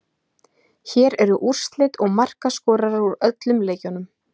Hér eru úrslit og markaskorarar úr öllum leikjunum: